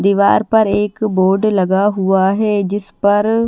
दीवार पर एक बोर्ड लगा हुआ है जिस पर--